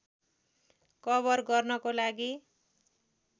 cover गर्नको लागि